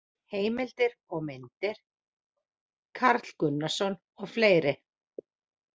Heimildir og myndir: Karl Gunnarsson og fleiri.